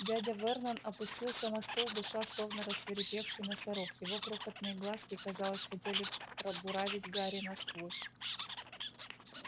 дядя вернон опустился на стул дыша словно рассвирепевший носорог его крохотные глазки казалось хотели пробуравить гарри насквозь